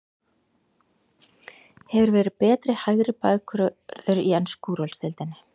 Hefur verið betri hægri bakvörður í ensku úrvalsdeildinni?